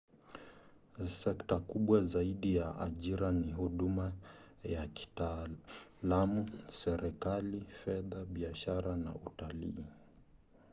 sekta kubwa zaidi za ajira ni huduma za kitaalamu serikali fedha biashara na utalii